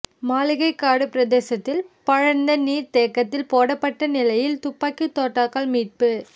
மாளிகைக்காடு பிரதேசத்தில் பாழடைந்த நீர் தேக்கத்தில் போடப்பட்ட நிலையில் துப்பாக்கி தோட்டாக்கள் மீட்பு